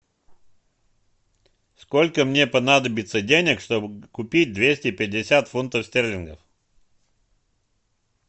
сколько мне понадобится денег чтобы купить двести пятьдесят фунтов стерлингов